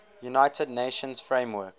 united nations framework